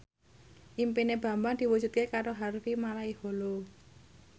impine Bambang diwujudke karo Harvey Malaiholo